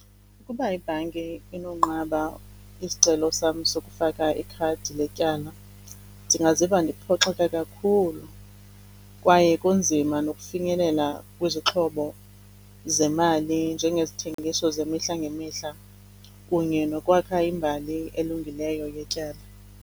Uba ibhanki inonqaba isicelo sam sokufaka ikhadi letyala, ndingaziva ndiphoxeke kakhulu kwaye kunzima nokufinyelela kwizixhobo zemali njengezithengiso zemihla ngemihla kunye nokwakha imbali elungileyo yetyala.